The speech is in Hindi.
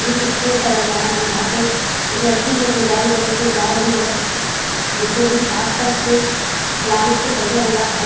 एक स्कूल सा लग रहा है जहां पे एक लड़की जो है अपने बैग लेकर के जा रही है। बीचों-बीच आस-पास पूरे प्लांट से सजा हुआ है।